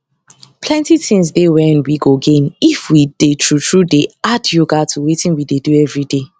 plenty things dey wen we go gain if we dey true true dey add yoga to wetin we dey do everyday